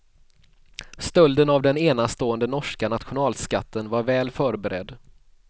Stölden av den enastående norska nationalskatten var väl förberedd.